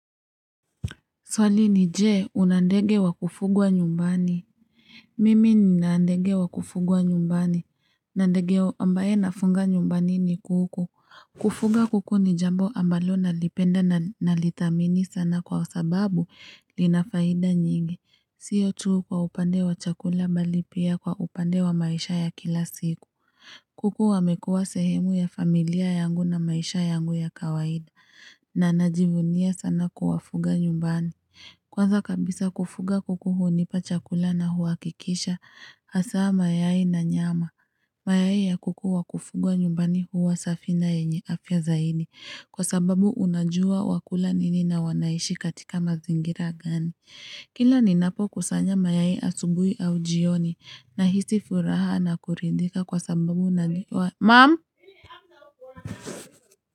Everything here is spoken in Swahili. Swali ni je una ndege wa kufugwa nyumbani Mimi nina ndege wa kufugwa nyumbani na ndege ambaye nafunga nyumbani ni kuku Kufuga kuku ni jambo ambalo nalipenda na nalidhamini sana kwa sababu linafaida nyingi Siyo tuu kwa upande wa chakula mbali pia kwa upande wa maisha ya kila siku kuku wamekua sehemu ya familia yangu na maisha yangu ya kawaida na najivunia sana kuwafuga nyumbani Kwanza kabisa kufuga kuku hunipa chakula na huwakikisha hasa mayai na nyama. Mayai ya kuku wakufugwa nyumbani huwa safi na enye afya zaidi kwa sababu unajua wakula nini na wanaishi katika mazingira gani. Kila ninapo kusanya mayai asubui au jioni nahisi furaha na kuridhika kwa sababu unajua mamu.